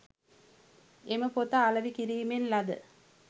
එම පොත අලෙවි කිරීමෙන් ලද